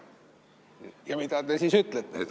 Ja mida te siis ütlete?